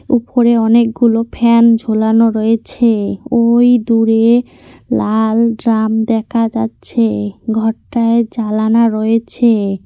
উপরে অনেকগুলো ফ্যান ঝোলানো রয়েছে ওই দূরে লাল ড্রাম দেখা যাচ্ছে ঘরটায় জালানা রয়েছে।